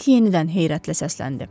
Dik yenidən heyrətlə səsləndi.